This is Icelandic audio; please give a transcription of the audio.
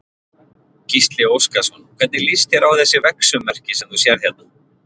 Gísli Óskarsson: Hvernig líst þér á þessi vegsummerki sem þú sérð hérna?